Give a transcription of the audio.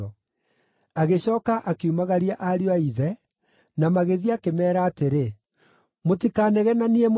Agĩcooka akiumagaria ariũ a ithe, na magĩthiĩ akĩmeera atĩrĩ, “Mũtikanegenanie mũrĩ njĩra-inĩ!”